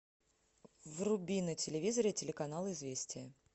вруби на телевизоре телеканал известия